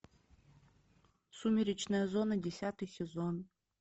сумеречная зона десятый сезон